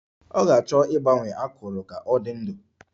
Ọ ga-achọ ịgbanye akụrụ ka ọ dị ndụ